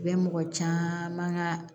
U bɛ mɔgɔ caman ka